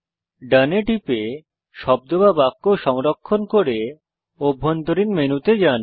ডোন এ টিপে শব্দ বা বাক্য সংরক্ষণ করে অভ্যন্তরীণ মেনুতে যান